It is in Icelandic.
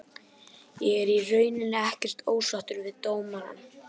Ég er í rauninni ekkert ósáttur við dómarann.